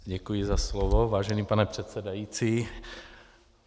Děkuji za slovo, vážený pane předsedající.